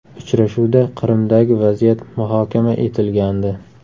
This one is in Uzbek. Uchrashuvda Qrimdagi vaziyat muhokama etilgandi.